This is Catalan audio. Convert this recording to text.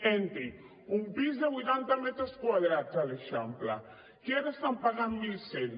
entrin un pis de vuitanta metres quadrats a l’eixample que ara estan pagant mil cent